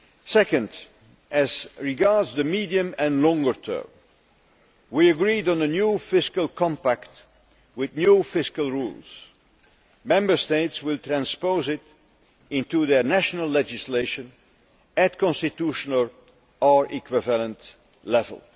Second, as regards the medium and longer term, we agreed on a new fiscal compact with new fiscal rules. Member States will transpose it into their national legislation at constitutional or equivalent level.